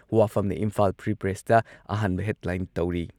ꯋꯥꯐꯝꯅ Imphal free ꯄ꯭ꯔꯦꯁꯇ ꯑꯍꯥꯟꯕ headline ꯇꯧꯔꯤ꯫